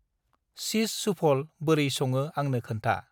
चीस सुफल बोरै संङो आंनो खोन्था।